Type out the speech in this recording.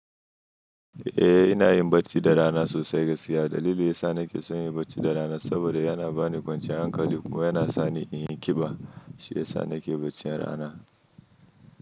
Eh, ina yin bacci da rana sosai gaskiya. Dalili ya sa nake son yin bacci da rana saboda yana bani kwanciyar hankali kuma yana sa ni in yi ƙiba. Shiya sa nake bacci ranar.